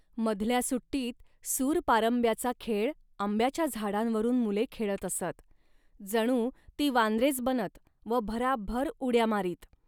मधल्या सुट्टीत सूरपारंब्याचा खेळ आंब्याच्या झाडांवरून मुले खेळत असत. जणू ती वानरेच बनत व भराभर उड्या मारीत